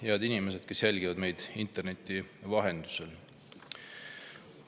Head inimesed, kes jälgivad meid internetis!